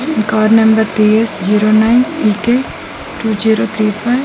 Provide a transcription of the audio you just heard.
ఈ car number TS. Zero nine EK. Two zero three five .